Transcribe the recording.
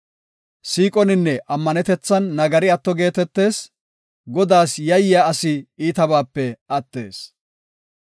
Siiqoninne ammanetethan nagari atto geetetees; Godaas yayyidi asi iitabaape attees.